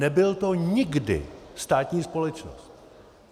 Nebyla to nikdy státní společnost.